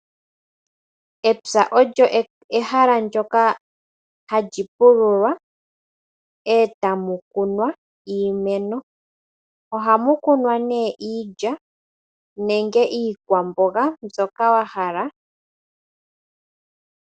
Epya olyo ehala ndjoka hali pululwa etamu kunwa iimeno. Ohamu kunwa nee iilya nenge iikwamboga mbyoka wa hala.